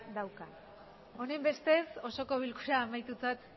dauka honenbestez osoko bilkura amaitutzat